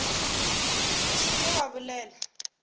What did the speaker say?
o se ke wa bolela